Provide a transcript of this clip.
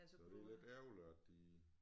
Så det lidt ærgerligt at de